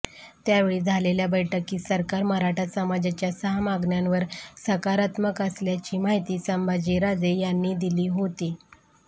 त्यावेळी झालेल्या बैठकीत सरकार मराठा समाजाच्या सहा मागण्यांवर सकारात्मक असल्याची माहिती संभाजीराजे यांनी दिली होती